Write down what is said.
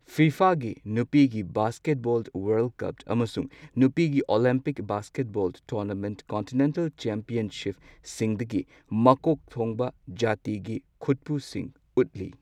ꯐꯤꯐꯥꯒꯤ ꯅꯨꯄꯤꯒꯤ basketball world cup ꯑꯃꯁꯨꯡ ꯅꯨꯄꯤꯒꯤ ꯑꯣꯂꯤꯝꯄꯤꯛ ꯕꯥꯁꯀꯦꯠꯕꯣꯜ ꯇꯣꯔꯅꯥꯃꯦꯟ ꯀꯣꯟꯇꯤꯅꯦꯟꯇꯦꯜ ꯆꯦꯝꯄ꯭ꯌꯟꯁꯤꯞꯁꯤꯡꯗꯒꯤ ꯃꯀꯣꯛ ꯊꯣꯡꯕ ꯖꯥꯇꯤꯒꯤ ꯈꯨꯠꯄꯨꯁꯤꯡ ꯎꯠꯂꯤ꯫